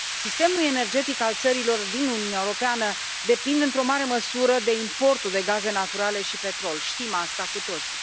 Sistemul energetic al țărilor din Uniunea Europeană depinde într o mare măsură de importul de gaze naturale și petrol, știm asta cu toții.